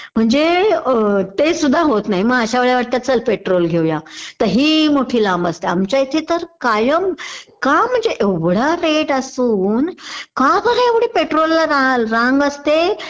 म्हणजे ते सुद्धा होत नाही मग अश्या वेळेला वाटत चाल पेट्रोल घेऊया तर हि मोठी लांब असते आमच्या इथेतर कायम का म्हणजे एवढा कैत असून का बर पेट्रोल ला रांग असते